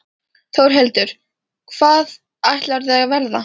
Þórhildur: Hvað ætlarðu að verða?